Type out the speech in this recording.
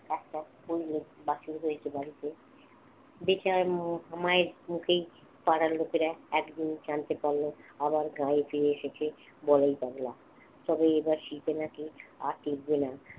একটা বাছুর হয়েছে বাড়িতে দেখি মায়ের মুখেই পাড়ার লোকেরা এক জিনিস জানতে পারলো আবার গায়ে ফিরে এসেছে বলাই পাগলা তবে এবার শীতে নাকি আর টিকবে না।